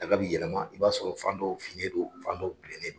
Daga b'i yɛlɛma, i b'a sɔrɔ fan dɔ finen don fan dɔ bilennen don.